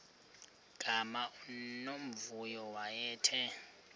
gama unomvuyo wayethe